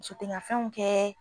Muso tɛ n ka fɛnw kɛ